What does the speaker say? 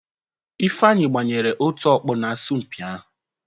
Ifeanyi gbanyere otu ọkpụ n'asọmpi ahụ.